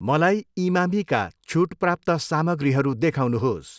मलाई इमामीका छुट प्राप्त सामग्रीहरू देखाउनुहोस्।